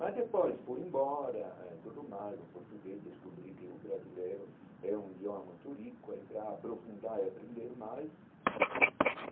Mas depois, fui embora, eh tudo mais, o português descobri que o brasileiro é um idioma muito rico, aí para aprofundar e aprender mais.